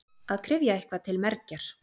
Að kryfja eitthvað til mergjar